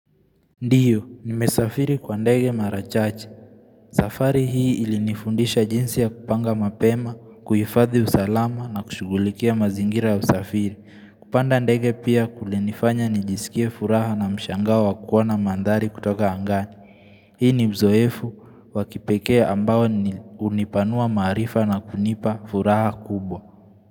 Ndiyo, nimesafiri kwa ndege mara chache. Safari hii ilinifundisha jinsi ya kupanga mapema, kuifadhi usalama na kushugulikia mazingira usafiri. Kupanda ndege pia kulinifanya nijisikie furaha na mshangao wa kuona mandhari kutoka angani. Hii ni mzoefu wa kipekee ambao ni unipanua marifa na kunipa furaha kubwa.